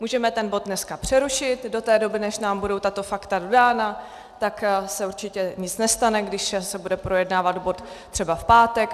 Můžeme ten bod dneska přerušit do té doby, než nám budou tato fakta dodána, tak se určitě nic nestane, když se bude projednávat bod třeba v pátek.